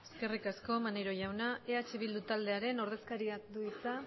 eskerrik asko maneiro jauna eh bildu taldearen ordezkariak du hitza